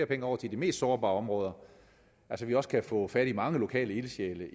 penge over til de mest sårbare områder at vi også kan få fat i mange lokale ildsjæle